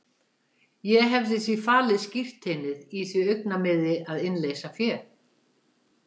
Ég hefði því falið skírteinið í því augnamiði að innleysa féð.